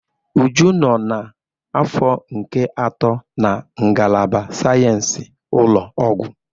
Uju nọ n'afọ nke atọ na ngalaba sayensị ụlọ ọgwụ